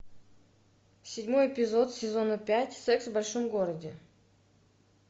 седьмой эпизод сезона пять секс в большом городе